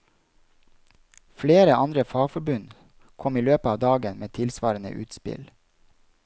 Flere andre fagforbund kom i løpet av dagen med tilsvarende utspill.